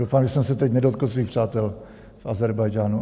Doufám, že jsem se teď nedotkl svých přátel v Ázerbájdžánu.